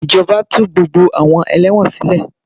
Ìjọba tú gbogbo àwọn ẹlẹ́wọ̀n sile